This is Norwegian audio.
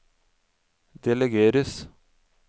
delegeres